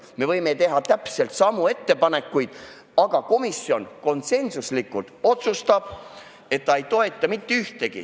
Me võime teha täpselt samu ettepanekuid, aga komisjon konsensuslikult otsustab, et ta ei toeta mitte ühtegi.